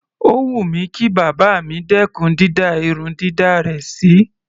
Ó wù mí kí bàbá mi dẹ́kùn dídá irun dàda rẹ̀ sí.